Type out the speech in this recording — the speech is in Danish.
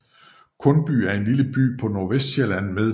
Kundby er en lille by på Nordvestsjælland med